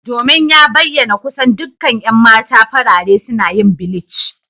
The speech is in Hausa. Domin ya bayyana kusan dukkan 'yan mata farare suna yin bleach.